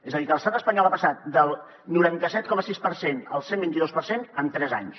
és a dir que l’estat espanyol ha passat del noranta set coma sis per cent al cent i vint dos per cent en tres anys